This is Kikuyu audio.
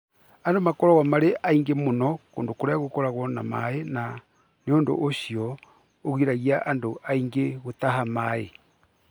Andũ makoragwo marĩ aingĩ mũno kũndũ kũrĩa gũkoragwo na maaĩ na ũndũ ũcio nĩ ũgiragia andũ aingĩ gũtaha maaĩ.